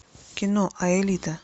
кино аэлита